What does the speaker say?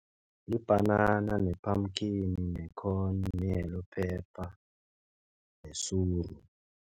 Libhanana, ne-pumpkin, ne-corn, ne-yellow pepper, nesuru.